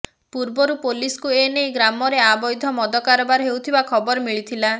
ପୂର୍ବରୁ ପୋଲିସ୍ ଏନେଇ ଗ୍ରାମରେ ଆବୈଧ ମଦ କାରବାର ହେଉଥିବା ଖବର ମିଳିଥିଲା